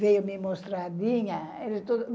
Veio me mostrar a Dinha.